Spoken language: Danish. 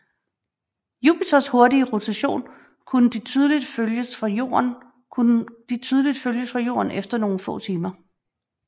Jupiters hurtige rotation kunne de tydeligt følges fra Jorden efter nogle få timer